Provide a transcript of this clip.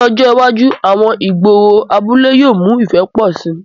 Ni ọjọ iwaju, àwọn igboro abule yóò mu ifẹ pọ si